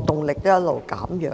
動力一直在減弱。